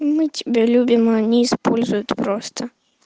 мы тебя любим а они используют просто